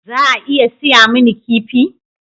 Za a iya saya mini kifi?